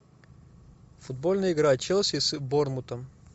футбольная игра челси с борнмутом